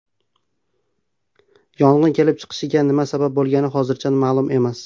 Yong‘in kelib chiqishiga nima sabab bo‘lgani hozircha ma’lum emas.